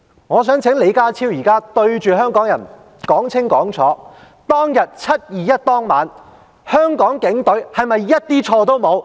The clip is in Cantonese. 我想請李家超現在對着香港人說得清清楚楚，在"七二一"當晚，香港的警隊是否毫無做錯之處？